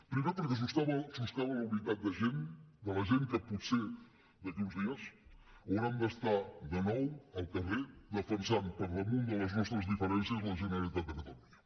primer perquè soscava la unitat de la gent que potser d’aquí a uns dies haurem d’estar de nou al carrer defensant per damunt de les nostres diferències la generalitat de catalunya